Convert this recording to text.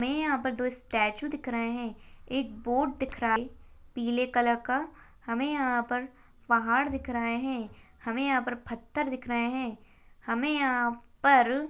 हमे यहाँ पर दो स्टैचू दिख रहे है एक बोर्ड दिख रहा है पीले कलर का हमे यहा पर पहाड़ दिख रहै हैं हमे यहा पर पत्थर दिख रहै है हमे यहाँ पर--